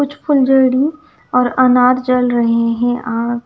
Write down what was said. कुछ फुलझड़ी और अनार जल रहे हैं आँ--